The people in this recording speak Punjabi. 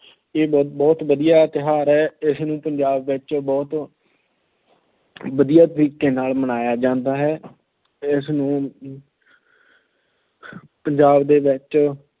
ਇਹ ਬਹੁਤ ਵਧੀਆ ਤਿਓਹਾਰ ਹੈ। ਇਹ ਪੰਜਾਬ ਵਿੱਚ ਬਹੁਤ ਵਧੀਆ ਤਰੀਕੇ ਨਾਲ ਮਨਾਇਆ ਜਾਂਦਾ ਹੈ। ਇਸ ਨੂੰ ਪੰਜਾਬ ਦੇ ਵਿੱਚ